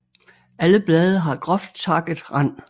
Alle blade har groft takket rand